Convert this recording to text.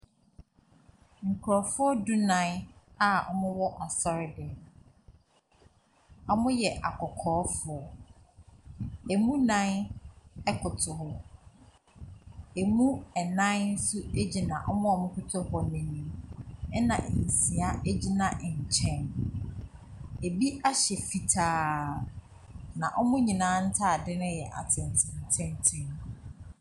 Nkorɔfoɔ dunaan a ɔmo wɔ asɔre dɛm mo. Ɔmo yɛ akɔkɔɔ foɔ. Emu naan ɛkoto hɔ. Emu ɛnaan so egyina ɔmo ɛkoto hɔ n'enim. Ɛna nsia egyina ɛnkyɛn. Ebi ahyɛ fitaa na ɔmo nyinaa ntaade no yɛ atentenatenten.